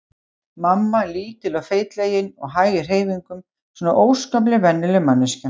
Mamma lítil og feitlagin og hæg í hreyfingum, svona óskaplega venjuleg manneskja.